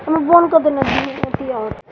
उ बंद कदना दुगो येथिया ह --